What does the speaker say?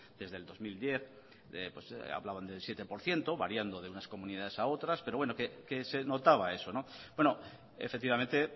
desde el dos mil diez hablaban del siete por ciento variando de unas comunidades a otras pero bueno que se notaba eso efectivamente